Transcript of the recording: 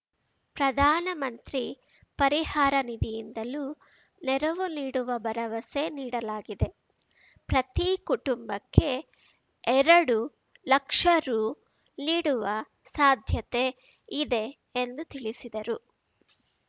ಪ್ರಧಾನಮಂತ್ರಿ ಪರಿಹಾರ ನಿಧಿಯಿಂದಲೂ ನೆರವು ನೀಡುವ ಭರವಸೆ ನೀಡಲಾಗಿದೆ ಪ್ರತಿ ಕುಟುಂಬಕ್ಕೆ ಎರಡು ಲಕ್ಷ ರು ಲೀಡುವ ಸಾಧ್ಯತೆ ಇದೆ ಎಂದು ತಿಳಿಸಿದರು